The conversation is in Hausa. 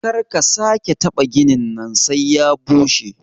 Karka sake kataɓa ginin nan sai ya bushe.